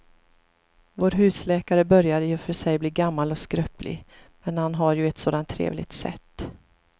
Vår husläkare börjar i och för sig bli gammal och skröplig, men han har ju ett sådant trevligt sätt!